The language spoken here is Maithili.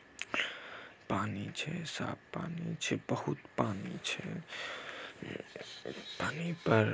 पानी छै साफ पानी छै बहुत पानी छै पानी पर ---